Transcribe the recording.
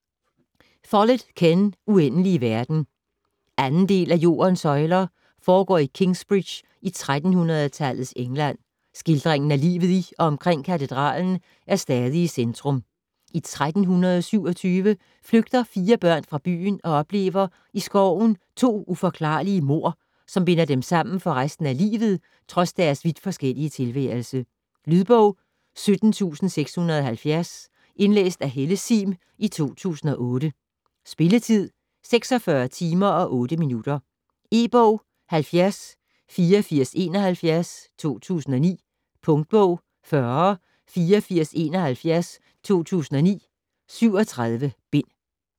Follett, Ken: Uendelige verden 2. del af Jordens søjler. Foregår i Kingsbridge i 1300-tallets England, skildringen af livet i og omkring katedralen er stadig i centrum. I 1327 flygter fire børn fra byen og oplever i skoven to uforklarlige mord, som binder dem sammen for resten af livet trods deres vidt forskellige tilværelse. Lydbog 17670 Indlæst af Helle Sihm, 2008. Spilletid: 46 timer, 8 minutter. E-bog 708471 2009. Punktbog 408471 2009. 37 bind.